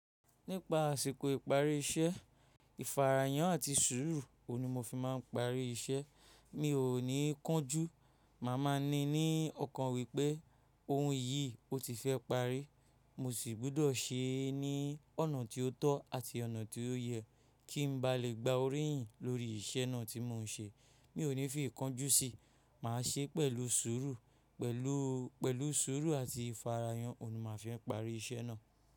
Nípa àsìkò ìparí iṣẹ́, ìfarayàn àti sùúrù òun ni mo fi máa ń parí iṣẹ́. Mi ò ní kánjú, màá má ni ní ọ̀kan wípé ohun yìí o ti fẹ́ parí. Mo sì gbudọ̀ se ní ọ̀nà tí ó tọ́ àti ọ̀nà tí ó yẹ kí n ba lè gba oríyìn lórí iṣẹ́ náà tí mò ń ṣe. Mi ò ní fi ìkánjú sí, màá ṣe pẹ̀lú sùúrù, pẹ̀lú, pẹ̀lú sùúrù àti ìfarayàn òun ni màá fi ń parí iṣẹ́ náà.